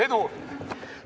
Edu!